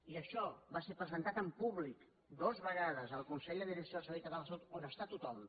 i això va ser presentat en públic dues vegades al consell de direcció del servei català de la salut on hi està tothom